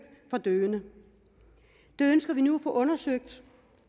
for døende det ønsker vi nu at få undersøgt